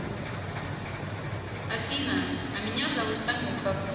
афина а меня зовут танюха